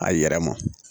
A yɛrɛ ma